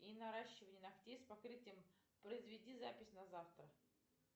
и наращивание ногтей с покрытием произведи запись на завтра